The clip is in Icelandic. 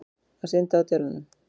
Að synda á delunum.